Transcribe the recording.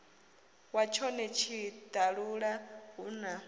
wa tshone tshiṱalula hu na